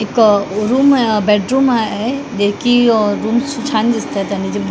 एक अ रूम आहे बेडरूम आहे जे की रूम्स छान दिसताय आणि जे--